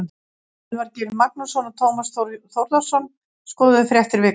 Elvar Geir Magnússon og Tómas Þór Þórðarson skoðuðu fréttir vikunnar.